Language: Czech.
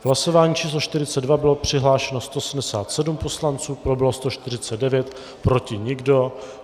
V hlasování číslo 42 bylo přihlášeno 177 poslanců, pro bylo 149, proti nikdo.